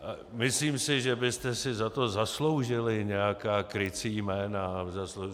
Myslím si, že byste si za to zasloužili nějaká krycí jména.